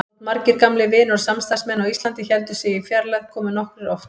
Þótt margir gamlir vinir og samstarfsmenn á Íslandi héldu sig í fjarlægð komu nokkrir oft.